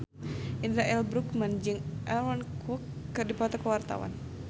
Indra L. Bruggman jeung Aaron Kwok keur dipoto ku wartawan